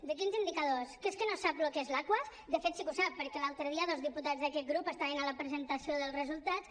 de quins indicadors que és que no sap el que és l’aquas de fet sí que ho sap perquè l’altre dia dos diputats d’aquest grup estaven a la presentació dels resultats